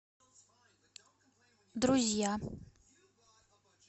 друзья